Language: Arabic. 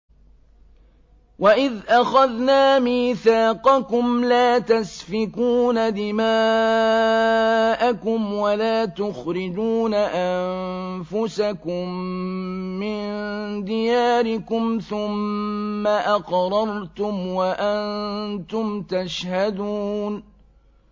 وَإِذْ أَخَذْنَا مِيثَاقَكُمْ لَا تَسْفِكُونَ دِمَاءَكُمْ وَلَا تُخْرِجُونَ أَنفُسَكُم مِّن دِيَارِكُمْ ثُمَّ أَقْرَرْتُمْ وَأَنتُمْ تَشْهَدُونَ